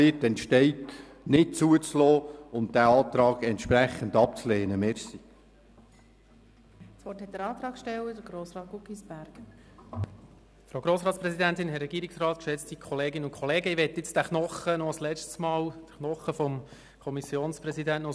Es soll ja vorkommen, dass es irgendwo in Gemeinden Sprayereien gibt, an Gebäuden oder vielleicht an Plakaten und vielleicht auch im Emmental.